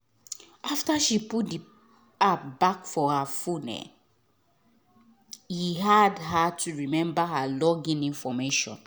after she put the app back for her new phone e hard her to remember her login information.